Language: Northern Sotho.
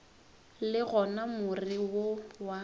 le gona more wo wa